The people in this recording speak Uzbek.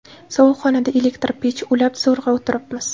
Sovuq xonada elektr pech ulab, zo‘rg‘a o‘tiribmiz.